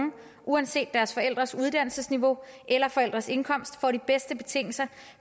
uanset deres forældres uddannelsesniveau eller forældres indkomst får de bedste betingelser